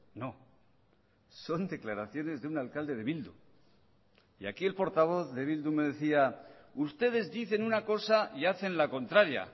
no son declaraciones de un alcalde de bildu y aquí el portavoz de bildu me decía ustedes dicen una cosa y hacen la contraria